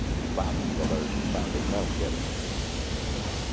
de padre, colégio de padre, não quero saber.